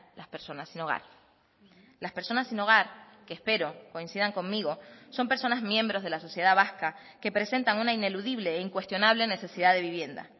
las personas sin hogar las personas sin hogar que espero coincidan conmigo son personas miembros de la sociedad vasca que presentan una ineludible e incuestionable necesidad de vivienda